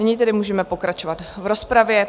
Nyní tedy můžeme pokračovat v rozpravě.